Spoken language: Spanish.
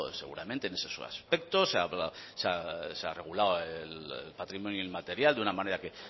seguramente en esos aspectos se ha regulado el patrimonio inmaterial de una manera que